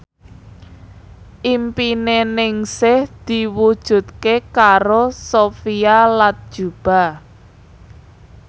impine Ningsih diwujudke karo Sophia Latjuba